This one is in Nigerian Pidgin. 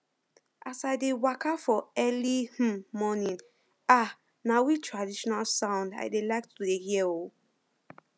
as i dey waka for early um morning um na we traditional sound i dey like to dey hear um